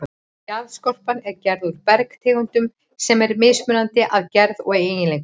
Jarðskorpan er gerð úr bergtegundum sem eru mismunandi að gerð og eiginleikum.